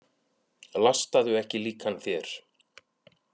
Lastaðu ekki líkan þér.